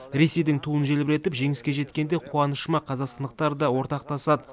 ресейдің туын желбіретіп жеңіске жеткенде қуанышыма қазақстандықтар да ортақтасады